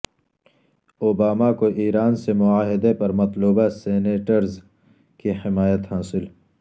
Obama کو Iran سے معاہدے پر مطلوبہ سینیٹرز کی حمایت حاصل